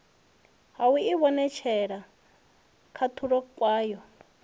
ha u ivhonetshela khahulo kwayo